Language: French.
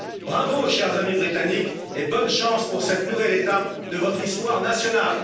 Bravo, chers amis britanniques, et bonne chance pour cette nouvelle étape de votre histoire nationale!